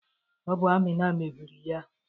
Ọ bụ Amina mebiri ya